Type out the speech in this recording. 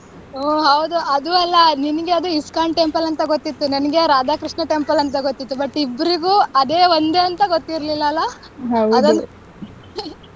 ಹು ಹೌದು ಅದು ಅಲ್ಲ ನಿನ್ಗೆ ಅದು ISKCON temple ಅಂತ ಗೊತ್ತಿತ್ತು ನನಗೆ ಅದು ರಾಧ ಕೃಷ್ಣ temple ಅಂತ ಗೊತ್ತಿತ್ತು but ಇಬ್ಬರಿಗೂನು ಅದೇ ಒಂದೆ ಅಂತ ಗೊತ್ತಿರ್ಲಿಲ್ಲ ಅಲ್ಲ amount ಗೆ.